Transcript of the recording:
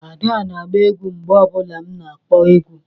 Ada na-agba egwú mgbe ọ bụla m na-akpo egwu